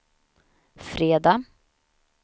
fredag